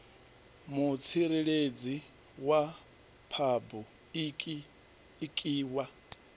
mutsireledzi wa phabu iki wa